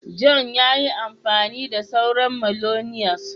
John ya yi amfani da sauran " mayonnaise ".